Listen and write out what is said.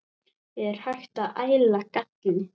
Er hægt að æla galli?